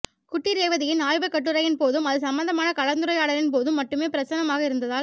குட்டி ரேவதியின் ஆய்வுக் கட்டுரையின் போதும் அது சம்பந்தமான கலந்துரையாடலின் போதும் மட்டுமே பிரசன்னமாக இருந்ததால்